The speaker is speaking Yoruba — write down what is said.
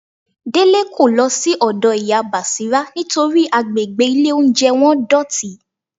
Délé kò lọ sí ọ̀dọ́ Ìyá Bàṣírá nítorí àgbègbè ilé-olóunjẹ wọn dọ̀tí